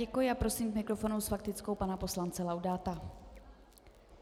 Děkuji a prosím k mikrofonu s faktickou pana poslance Laudáta.